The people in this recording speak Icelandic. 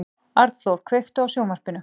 Arnþór, kveiktu á sjónvarpinu.